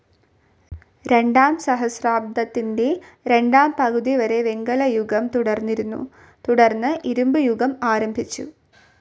രണ്ടാം സഹസ്രാബ്ദത്തിൻ്റെ രണ്ടാം പകുതിവരെ വെങ്കലയുഗം തുടർന്നിരുന്നു തുടർന്ന് ഇരുമ്പുയുഗം ആരംഭിച്ചു.